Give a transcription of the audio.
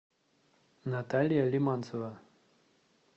наталья лиманцева